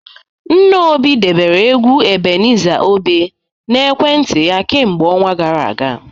Nna Obi debere egwu Ebenezer Obe n'ekwentị ya kemgbe ọnwa gara aga